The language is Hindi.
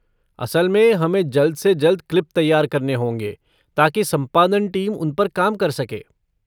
असल में हमें जल्द से जल्द क्लिप तैयार करने होंगे ताकि संपादन टीम उन पर काम कर सके।